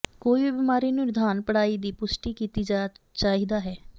ਕੋਈ ਵੀ ਬਿਮਾਰੀ ਨੂੰ ਨਿਦਾਨ ਪੜ੍ਹਾਈ ਦੀ ਪੁਸ਼ਟੀ ਕੀਤੀ ਜਾ ਚਾਹੀਦਾ ਹੈ